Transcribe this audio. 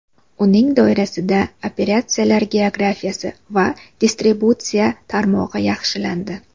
Uning doirasida operatsiyalar geografiyasi va distributsiya tarmog‘i yaxshilandi.